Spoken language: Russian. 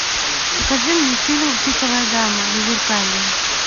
покажи мне фильм пиковая дама зазеркалье